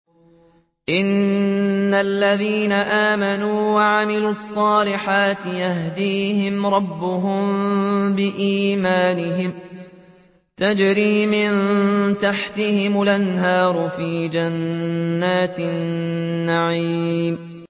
إِنَّ الَّذِينَ آمَنُوا وَعَمِلُوا الصَّالِحَاتِ يَهْدِيهِمْ رَبُّهُم بِإِيمَانِهِمْ ۖ تَجْرِي مِن تَحْتِهِمُ الْأَنْهَارُ فِي جَنَّاتِ النَّعِيمِ